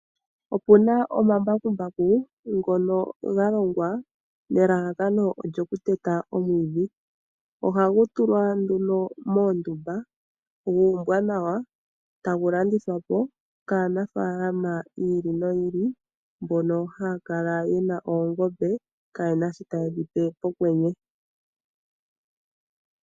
Okuna omambakumba ngono ga longwa nelalakano lyokuteta omwiidhi. Ohagu tulwa nduno moondumba guumbwa nawa, tagu landithwa po kaanafaalama yiili noyiili mbono haya kala yena oongombe kayena sho taye dhi pe pokwenye.